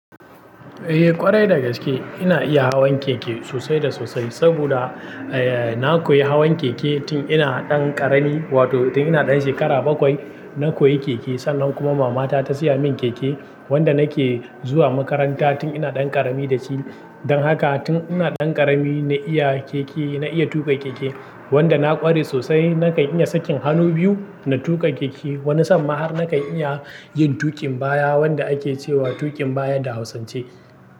Eh ƙwarai da gaske ina iya hawan keke sosai da sosai. Saboda, eh na koyi hawan keke tin ina ɗan ƙarami, wato tin ina ɗan shekara bakwai na koyi keke. Sannan kuma mamata ta siya min keke wanda nake zuwa makaranta tin ina ɗan ƙarami da shi. Don haka tin ina ɗan ƙarami na iya keke, na iya tuƙa keke wanda na ƙware sosai. Na kan iya sakin hannu biyu na tuƙa keke. Wani san ma har na kan iya yin tuƙin baya wanda ake cewa tuƙin baya da hausance.